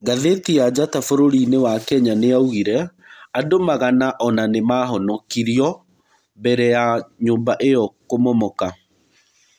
Gatheti ya njata bũrũri-nĩ wa Kenya nĩyaugire. Andũmagana ona nĩmahonokirĩo mbere ya nyũmba ĩo kũmomoka.